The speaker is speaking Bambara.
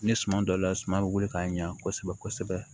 Ni suma don la suma bɛ wili k'a ɲa kosɛbɛ kosɛbɛ